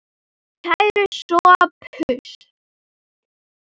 Kæri Sophus.